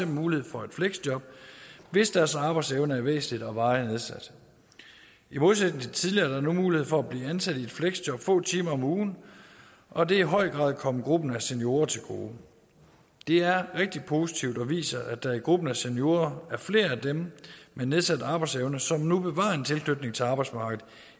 mulighed for et fleksjob hvis deres arbejdsevne er væsentlig og varigt nedsat i modsætning til tidligere er der nu mulighed for at blive ansat i et fleksjob få timer om ugen og det er i høj grad kommet gruppen af seniorer til gode det er rigtig positivt og viser at der i gruppen af seniorer er flere af dem med nedsat arbejdsevne som nu bevarer en tilknytning til arbejdsmarkedet